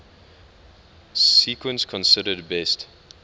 sequence considered best